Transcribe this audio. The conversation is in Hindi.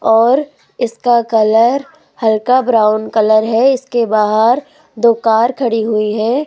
और इसका कलर हल्का ब्राउन कलर है इसके बाहर दो कार खड़ी हुई है।